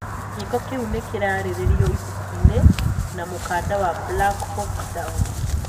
Giiko kiu nikiaririirio ibuku-ini na mũkanda wa 'Black Hawk Down'.